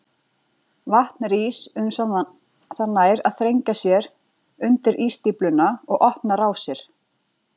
Vatn rís uns það nær að þrengja sér undir ísstífluna og opna rásir.